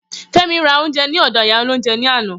Femi ra oúnjẹ ní ọdọ̀ ìyá olóhúnjẹ ní àná.